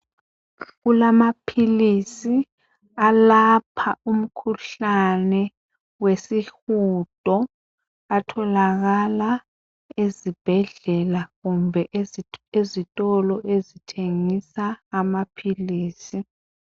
Kulamaphilisi alapha umkhuhlane wesihudo. Atholakala ezibhedlela, Kumbe ezitolo ezithengisa amaphilisi.